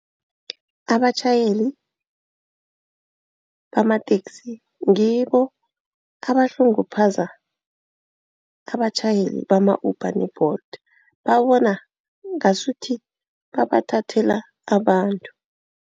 Abatjhayeli bamateksi ngibo abuhlunguphaza abatjhayeli bama-Uber ne-Bolt. Babona ngasuthi babathathela abantu.